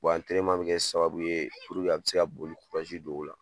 bɛ kɛ sababu ye puruke a bɛ se ka boli don o la.